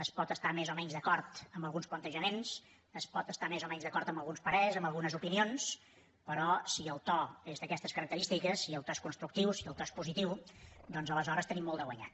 es pot estar més o menys d’acord amb alguns plantejaments es pot estar més o menys d’acord amb alguns parers amb algunes opinions però si el to és d’aquestes característiques si el to és constructiu si el to és positiu doncs aleshores tenim molt de guanyat